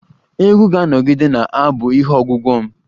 Egwu ga-anọgide na-abu ihe ogwugwo m